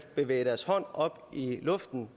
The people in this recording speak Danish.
bevæge deres hånd op i luften